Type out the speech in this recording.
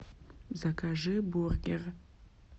закажи бургер